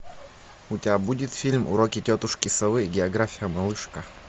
у тебя будет фильм уроки тетушки совы география малышка